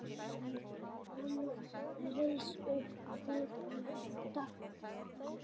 Mamma reis upp við dogg.